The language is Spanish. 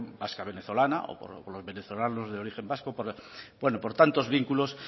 población vasca venezolana o por los venezolanos de origen vasco por tantos vínculos